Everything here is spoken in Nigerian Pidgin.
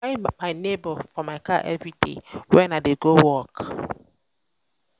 i dey carry my nebor for my car everyday wen i dey go work.